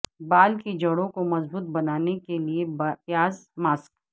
بال کی جڑوں کو مضبوط بنانے کے لئے پیاز ماسک